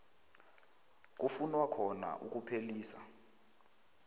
kufunwa khona ukuphelisa